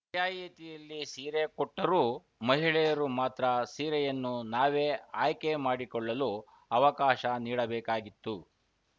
ರಿಯಾಯಿತಿಯಲ್ಲಿ ಸೀರೆ ಕೊಟ್ಟರೂ ಮಹಿಳೆಯರು ಮಾತ್ರ ಸೀರೆಯನ್ನು ನಾವೇ ಆಯ್ಕೆ ಮಾಡಿಕೊಳ್ಳಲು ಅವಕಾಶ ನೀಡಬೇಕಾಗಿತ್ತು